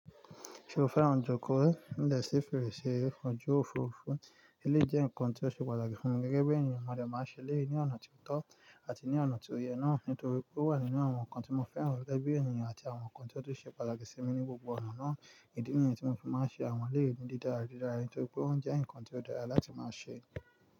Ṣé o fẹ́ràn jòkó? Ní ìdẹ̀ sí fèrèsé, ọjọ́ òfurufú, eléyìí jẹ́ nǹkan tí ó ṣe pàtàkì fún mi gẹ́gẹ́ bí ènìyàn. Mo dè máa ṣe eleyi ní ọ̀nà tí ó tọ́ àti ní ọ̀nà tí ó yẹ náà nítorí pé ó wà nínú àwọn nǹkan tí mo fẹ́ràn gege bi ènìyàn àti àwọn nǹkan tí ó tún ṣe pàtàkì sí mi ní gbogbo ọ̀nà náà. Ìdí nìyẹn tí mo fi máa ń ṣe àwọn eleyii ni didára didára nítorí pé won jẹ́ nǹkan tí ó dára láti máa ṣe.